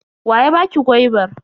Wa ya baki gwaibar?